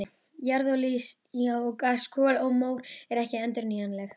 Jarðolía og gas, kol og mór eru ekki endurnýjanleg.